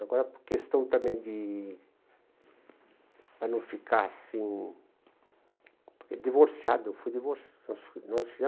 Agora, por questão também de, para não ficar assim, divorciado, eu fui divorciado